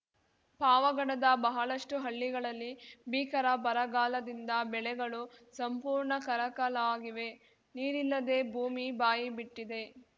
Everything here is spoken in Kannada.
ಪಾವಗಡದ ಬಹಳಷ್ಟುಹಳ್ಳಿಗಳಲ್ಲಿ ಭೀಕರ ಬರಗಾಲದಿಂದ ಬೆಳೆಗಳು ಸಂಪೂರ್ಣ ಕರಕಲಾಗಿವೆ ನೀರಿಲ್ಲದೆ ಭೂಮಿ ಬಾಯಿಬಿಟ್ಟಿದೆ